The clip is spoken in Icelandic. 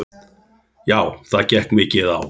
Já, það gekk mikið á.